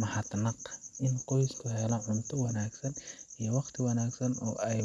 mahadnaq. In qoys helay cunto wanaagsan iyo waqti wanaagsan oo ay